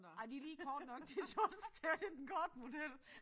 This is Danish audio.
Ej de lige korte nok de shorts der. Det den korte model